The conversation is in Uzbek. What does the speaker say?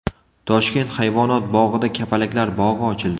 Toshkent hayvonot bog‘ida kapalaklar bog‘i ochildi .